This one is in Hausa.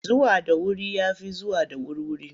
Zuwa da wuri ya fi zuwa da wurwuri.